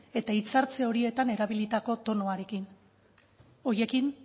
eta hitzartze horietan erabilitako tonuarekin horiekin